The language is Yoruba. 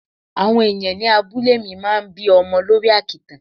Awon ẹ̀yàn ni abúlé mi máa ń bí ọmọ lórí àkìtàn.